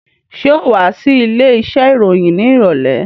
Ṣé ò wá sí ilé iṣẹ́ ìròyìn ní ìrọ̀lẹ́?